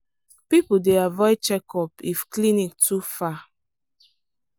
people dey avoid checkup if clinic too far.